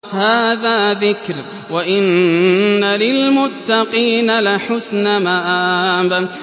هَٰذَا ذِكْرٌ ۚ وَإِنَّ لِلْمُتَّقِينَ لَحُسْنَ مَآبٍ